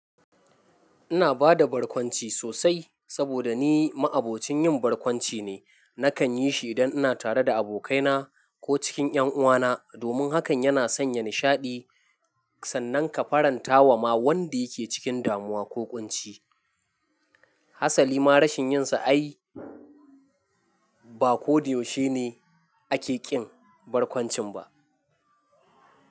Ina bada barkwanci sosai saboda ni ma'abocin yin barkwanci ne. Nakan yi shi idan ina tare da abokaina, ko cikin ƴanuwana, domin hakan yana sanya nishaɗi sannan ka faranta wa ma wanda yake cikin damuwa ko ƙunci. Hasali ma rashin yin sa ai ba ko da yau she ne ake ƙin barkwancin ba.